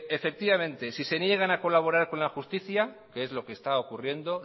efectivamente si se niegan a colaborar con la justicia que es lo que está ocurriendo